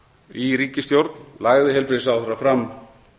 í ríkisstjórn lagði heilbrigðisráðherra fram